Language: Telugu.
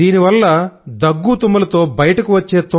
దీనివల్ల దగ్గు తుమ్ములతో బయటకు వచ్చే